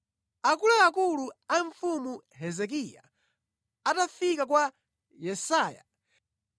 Akuluakulu a Mfumu Hezekiya atafika kwa Yesaya,